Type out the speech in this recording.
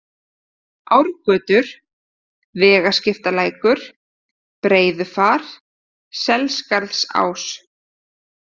Árgötur, Vegaskiptalækur, Breiðufar, Selskarðsás